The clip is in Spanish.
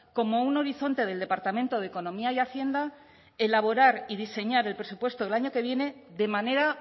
como un horizonte del departamento de economía y hacienda elaborar y diseñar el presupuesto del año que viene de manera